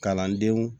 Kalandenw